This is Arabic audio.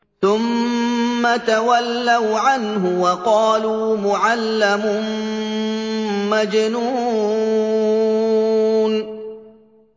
ثُمَّ تَوَلَّوْا عَنْهُ وَقَالُوا مُعَلَّمٌ مَّجْنُونٌ